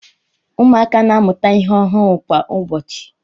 Ụmụaka na-amụta ihe ọhụrụ kwa ụbọchị